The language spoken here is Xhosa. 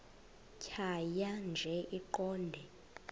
tjhaya nje iqondee